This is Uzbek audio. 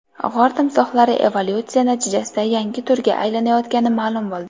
G‘or timsohlari evolyutsiya natijasida yangi turga aylanayotgani ma’lum bo‘ldi.